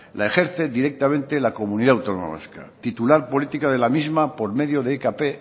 la ejerce directamente la comunidad autónoma vasca titular política de la misma por medio de ekp